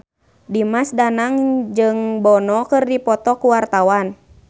Dimas Danang jeung Bono keur dipoto ku wartawan